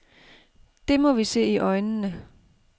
Det må vi se i øjnene.